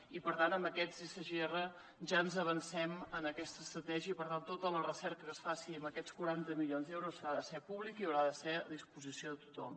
i per tant en aquests sgr ja ens avancem en aquesta estratègia i per tant tota la recerca que es faci amb aquests quaranta milions d’euros ha de ser pública i haurà de ser a disposició de tothom